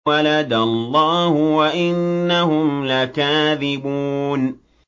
وَلَدَ اللَّهُ وَإِنَّهُمْ لَكَاذِبُونَ